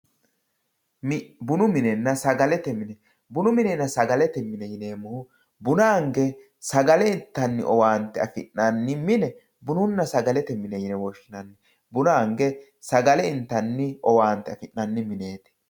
bunu minenna sagalete mini. bunu minenna sagalete mini yineemmohu buna ange sagale intanni owaante afi'nanni mine bununna sagalete mineeti yine woshshinanni buna ange sagale inte owaante afi'nanni mineeti